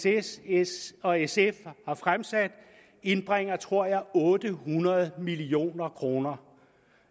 s s og sf har fremsat indbringer tror jeg otte hundrede million kroner